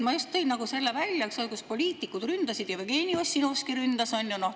Ma tõin just selle välja, et poliitikud ründasid, Jevgeni Ossinovski ründas.